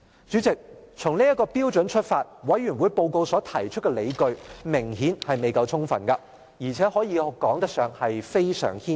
主席，從這標準出發，調查委員會報告中所提出的理據明顯未夠充分，而且可說是非常牽強。